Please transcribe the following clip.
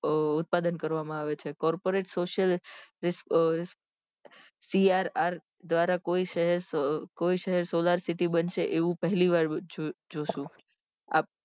ઉત્પાદન કરવા માં આવે છે corporate social CRR દ્વારા કોઈ શહેર solar city બનશે એવું પહેલી વાર થશે